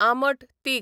आमट तीख